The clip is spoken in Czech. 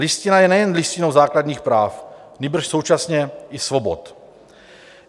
Listina je nejen listinou základních práv, nýbrž současně i svobod.